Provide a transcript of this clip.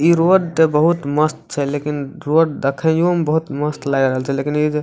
ई road बहुत मस्त छै लेकिन रोड देखयो में बहुत मस्त लाग रहल छै लेकिन ई --